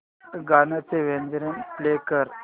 गाण्याचे version play कर